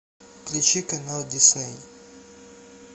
включи канал дисней